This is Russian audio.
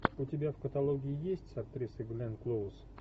у тебя в каталоге есть с актрисой гленн клоуз